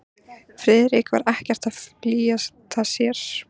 Friðrik var ekkert að flýta sér.